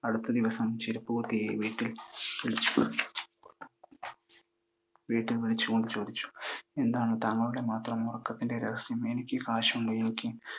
അടുത്ത ദിവസം ചെരുപ്പുകുത്തിയെ വീട്ടിൽ വിളിച്ചു കൊണ്ട് ചോദിച്ചു, എന്താണ് താങ്കളുടെ മാത്രം ഉറക്കത്തിൻ്റെ രഹസ്യം? എനിക്ക് കാശുണ്ട്,